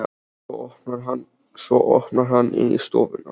Svo opnar hann inn í stofuna.